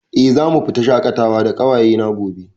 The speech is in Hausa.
Eh, zamu fita shaƙatawa da ƙawaye na gobe